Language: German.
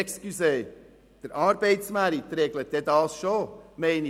Entschuldigen Sie einmal: Der Arbeitsmarkt wird dies schon regeln.